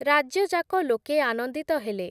ରାଜ୍ୟଯାକ ଲୋକେ ଆନନ୍ଦିତ ହେଲେ ।